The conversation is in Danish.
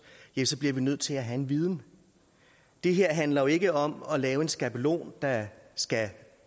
bliver vi nødt til at have en viden det her handler jo ikke om at lave en skabelon der skal